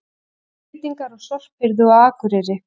Breytingar á sorphirðu á Akureyri